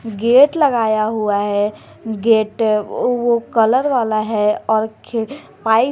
gate लगाया हुआ है गेट वह कलर वाला है और खे पाइप --